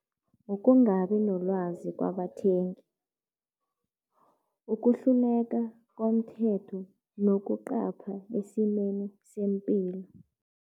Ngokungabi nolwazi kwabathengi, ukuhluleka komthetho nokuqapha esimeni sempilo.